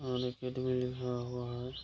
लगा हुआ है |